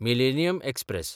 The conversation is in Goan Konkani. millennium express